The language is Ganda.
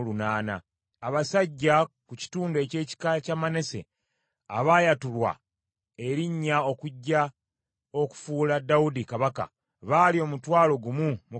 abasajja ku kitundu eky’ekika kya Manase, abaayatulwa erinnya okujja okufuula Dawudi kabaka baali omutwalo gumu mu kanaana;